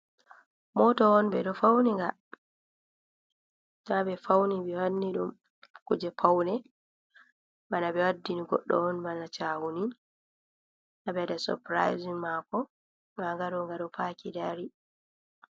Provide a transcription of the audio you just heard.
Moto on ɓe ɗo fauni nga ɓe wanni ɗum kuje paune bana ɓe waddini goɗɗo on, bana chahuni haɓe waɗa sopiraisin mako, nda nga ɗo nga ɗo paki dari.